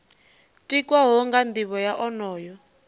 tikwaho nga nivho ya onoyo